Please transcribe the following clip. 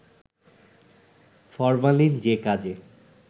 formalin যে কাজে